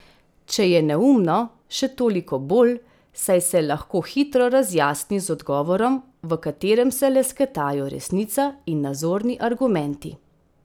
Če je neumno, še toliko bolj, saj se lahko hitro razjasni z odgovorom, v katerem se lesketajo resnica in nazorni argumenti.